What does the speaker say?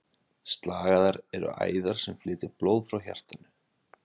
Slagæðar eru æðar sem flytja blóð frá hjartanu.